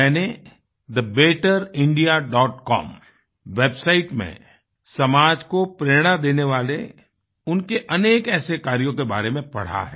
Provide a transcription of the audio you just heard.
मैंने thebetterindiacom websiteमें समाज को प्रेरणा देने वाले उनके अनेक ऐसे कार्यों के बारे में पढ़ा है